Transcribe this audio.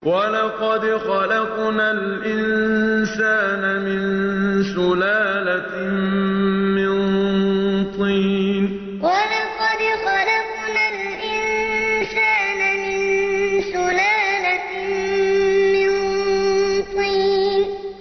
وَلَقَدْ خَلَقْنَا الْإِنسَانَ مِن سُلَالَةٍ مِّن طِينٍ وَلَقَدْ خَلَقْنَا الْإِنسَانَ مِن سُلَالَةٍ مِّن طِينٍ